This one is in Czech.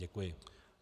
Děkuji.